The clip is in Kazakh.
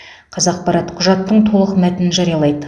қазақпарат құжаттың толық мәтінін жариялайды